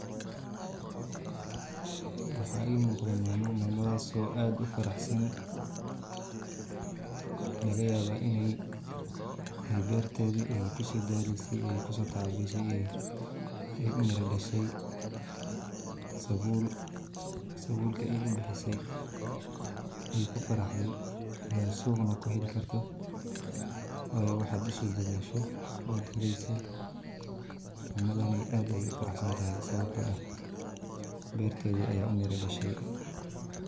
Waxa ii muuqda maama, maamadas oo aad ufaraxsan laga yabaa inay beertedi ay kuso daaleyse ay kuso tacab beshe ay u mira dhashe sabul, sabulka egay bixise ay ku faraxday suqna kuheli karto, wayo waxad uso dadashe way heleysa, maamadaney aad ayay u faraxsantahay sababto ah beertedi aya u mira dhashay